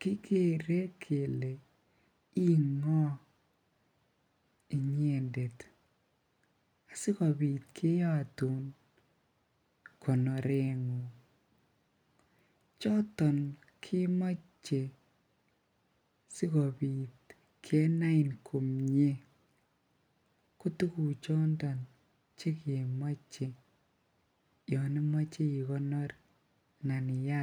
kikere kelee ii ngoo inyendet sikobit keyotun konorengung, choton kemoche sikobit kenain komnye, ko tuku chondon chekemoche yoon imoche ikonor anan iyaat.